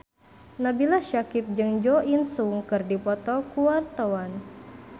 Nabila Syakieb jeung Jo In Sung keur dipoto ku wartawan